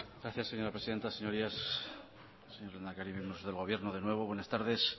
gracias señora presidenta señorías señor lehendakari miembros del gobierno de nuevo buenas tardes